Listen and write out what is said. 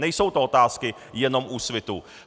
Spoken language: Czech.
Nejsou to otázky jenom Úsvitu.